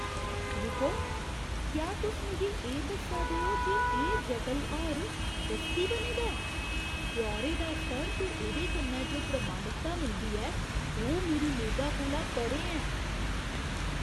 रुको, क्या तुस मिगी एह् दस्सा दे ओ जे एह् जटल हार दस्ती बने दा ऐ? ब्यौरे दा स्तर ते एह्दे कन्नै जो प्रामाणिकता मिलदी ऐ ओह् मेरी मेदा कोला परें ऐ!